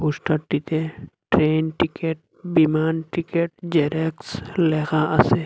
পোস্টারটিতে train ticket বিমান ticket Xerox লেখা আসে।